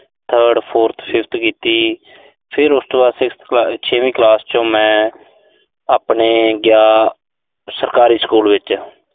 third, fourth, fifth ਕੀਤੀ। ਫਿਰ ਉਸ ਤੋਂ ਬਾਅਦ sixth ਛੇਵੀਂ ਕਲਾਸ ਚ ਮੈਂ ਆਪਣੇ ਗਿਆ, ਸਰਕਾਰੀ ਸਕੂਲ ਵਿੱਚ